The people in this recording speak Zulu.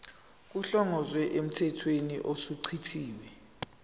kuhlongozwe emthethweni osuchithiwe